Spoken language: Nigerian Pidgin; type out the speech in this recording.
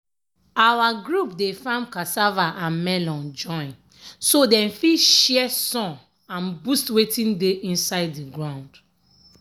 our group dey farm cassava and melon join so dem fit share sun and boost wetin dey inside the ground.